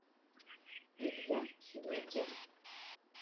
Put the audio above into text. илья гейгер